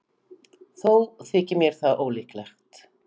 Þó þykir mér það ólíklegt.